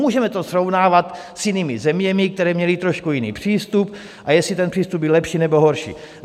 Můžeme to srovnávat s jinými zeměmi, které měly trošku jiný přístup, a jestli ten přístup byl lepší, nebo horší.